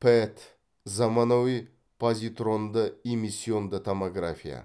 пэт заманауи позитронды эмиссионды томография